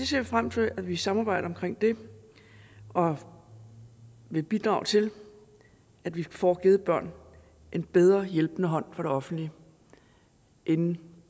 ser frem til at vi samarbejder omkring det og vil bidrage til at vi får givet børn en bedre hjælpende hånd fra det offentlige inden